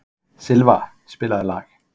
Silfa, spilaðu lag.